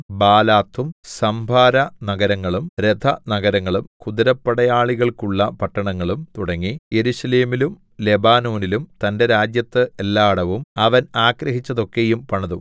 ബാലാത്തും സംഭാരനഗരങ്ങളും രഥനഗരങ്ങളും കുതിരപ്പടയാളികൾക്കുള്ള പട്ടണങ്ങളും തുടങ്ങി യെരൂശലേമിലും ലെബാനോനിലും തന്റെ രാജ്യത്ത് എല്ലാടവും അവൻ ആഗ്രഹിച്ചതൊക്കെയും പണിതു